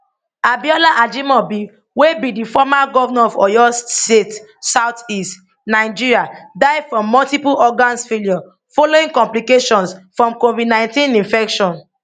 abiola ajimobi wey be di former govnor of oyo state southwest nigeriadie from multiple organs failure following complications from covid19 infection